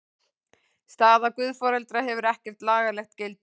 Staða guðforeldra hefur ekkert lagalegt gildi.